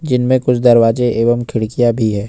जीनमें कुछ दरवाजे एवं खिड़कियां भी है।